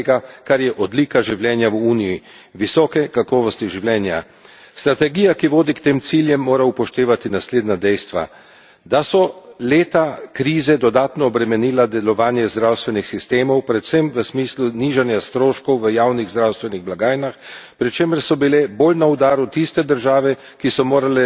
Strategija, ki vodi k tem ciljem, mora upoštevati naslednja dejstva da so leta krize dodatno obremenila delovanje zdravstvenih sistemov, predvsem v smislu nižanja stroškov v javnih zdravstvenih blagajnah, pri čemer so bile bolj na udaru tiste države, ki so morale tudi sicer bolj ostro se spopasti s posledicami krize.